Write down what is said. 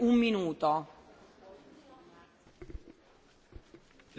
Libertatea presei nu este niciodată suficient protejată în fața abuzurilor.